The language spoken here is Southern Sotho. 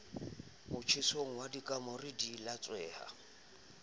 motjhesong wa kamore di latsweha